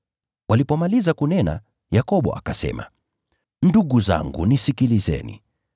Walipomaliza kunena, Yakobo akasema, “Ndugu zangu, nisikilizeni.